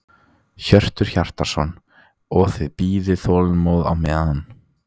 Hjörtur Hjartarson: Og þið bíðið þolinmóð á meðan?